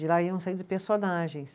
De lá iam saindo personagens.